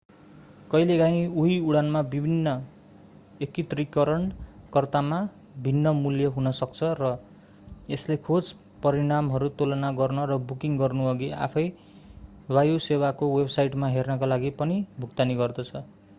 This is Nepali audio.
कहिलेकाहिँ उही उडानमा विभिन्न एकत्रीकरणकर्तामा भिन्न मूल्य हुन सक्छ र यसले खोज परिणामहरू तुलना गर्न र बुकिङ गर्नुअघि आफैँ वायुसेवाको वेबसाइटमा हेर्नका लागि पनि भुक्तानी गर्दछ